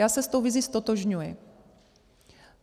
Já se s tou vizí ztotožňuji.